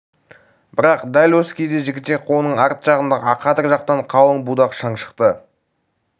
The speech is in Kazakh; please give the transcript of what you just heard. бірақ дәл осы кезде жігітек қолының арт жағындағы ақадыр жақтан қалың будақ шаң шықты